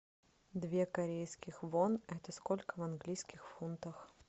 две корейских вон это сколько в английских фунтах